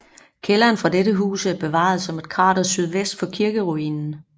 Kælderen fra dette hus er bevaret som et krater sydvest for kirkeruinen